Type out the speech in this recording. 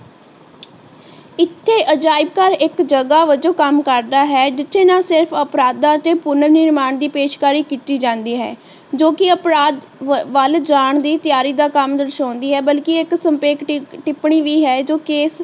ਇੱਥੇ ਅਜਾਇਬ ਘਰ ਇੱਕ ਜਗਾਹ ਵਜੋਂ ਕੰਮ ਕਰਦਾ ਹੈ ਜਿੱਥੇ ਨਾ ਸਿਰਫ਼ ਅਪਰਾਧਾਂ ਦੀ ਪੂਰਨ ਨਿਰਮਾਨ ਦੀ ਪੇਸ਼ਕਾਰੀ ਕੀਤੀ ਜਾਂਦੀ ਹੈ ਜੋ ਕਿ ਅਪਰਾਧ ਵੱਲ ਜਾਨ ਦੀ ਤਿਆਰੀ ਦਾ ਕੰਮ ਦਰਸਾਉਂਦੀ ਹੈ ਬਲਕਿ ਇੱਕ ਸੰਖੇਪ ਟਿੱਪਣੀ ਵੀ ਹੈ ਜੋ ਕਿ ਇੱਕ